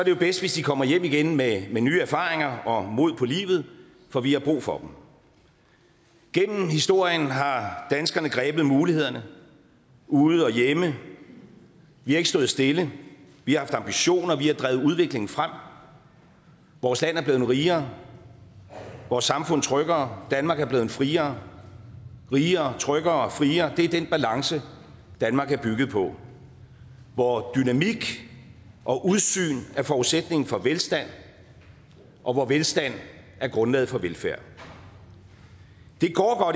jo bedst hvis de kommer hjem igen med nye erfaringer og mod på livet for vi har brug for dem gennem historien har danskerne grebet mulighederne ude og hjemme vi har ikke stået stille vi har haft ambitioner vi har drevet udviklingen frem vores land er blevet rigere vores samfund tryggere danmark er blevet friere rigere tryggere friere det er den balance danmark er bygget på hvor dynamik og udsyn er forudsætningen for velstand og hvor velstand er grundlaget for velfærd det går